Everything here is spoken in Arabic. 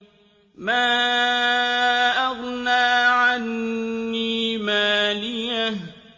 مَا أَغْنَىٰ عَنِّي مَالِيَهْ ۜ